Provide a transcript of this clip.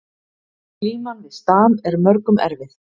Glíman við stam er mörgum erfið